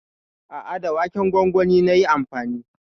A'a, da waken gwangwani nayi amfani.